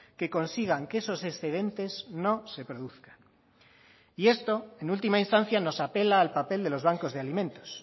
que consigan que esos excedentes no se produzcan y esto en última instancia nos apela al papel de los bancos de alimentos